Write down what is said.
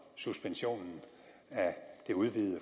suspensionen af det udvidede